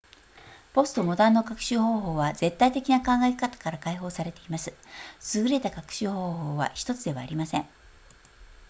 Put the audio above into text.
ポストモダンの学習方法は絶対的な考え方から解放されています優れた学習方法は1つではありません